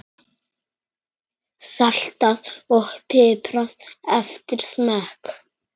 Saltað og piprað eftir smekk.